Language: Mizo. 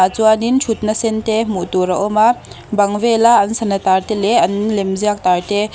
ah chuanin thutna sen te hmuh tur a awma bang vela an sana tar te leh an lemziak tar te.